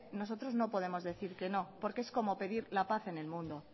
nosotros no podemos decir que no porque es como pedir la paz en el mundo